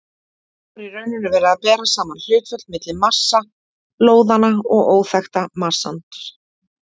Þá er í rauninni verið að bera saman hlutföll milli massa lóðanna og óþekkta massans.